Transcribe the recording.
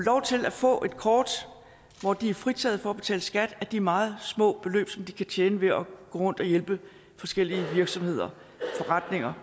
få et kort hvor de er fritaget for at betale skat af de meget små beløb som de kan tjene ved at gå rundt og hjælpe forskellige virksomheder